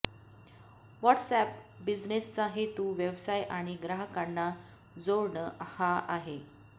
WhatsApp बिजनेसचा हेतू व्यवसाय आणि ग्राहकांना जोडणं हा आहे